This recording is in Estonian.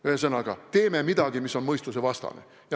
Ühesõnaga, me teeme midagi, mis on mõistusevastane.